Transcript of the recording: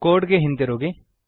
code ಗೆ ಹಿಂದಿರುಗಿ